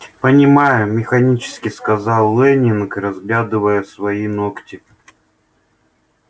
понимаю механически сказал лэннинг разглядывая свои ногти